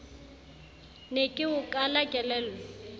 ne ke o kala kelello